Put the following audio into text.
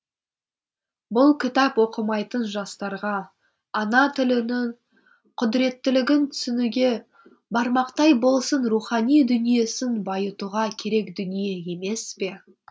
бұл кітап оқымайтын жастарға ана тілінің құдіреттілігін түсінуге бармақтай болсын рухани дүниесін байытуға керек дүние емес пе